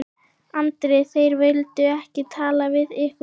Andri: Þeir vildu ekki tala við ykkur?